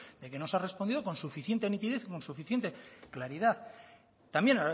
de que no se ha respondido con suficiente nitidez con suficiente claridad también